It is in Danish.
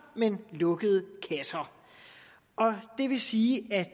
men lukkede kasser det vil sige at